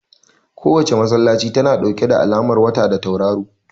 Kowace masallaci tana ɗauke da alamar wata da tauraro